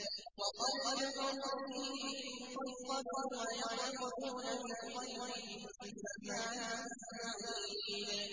وَقَدْ كَفَرُوا بِهِ مِن قَبْلُ ۖ وَيَقْذِفُونَ بِالْغَيْبِ مِن مَّكَانٍ بَعِيدٍ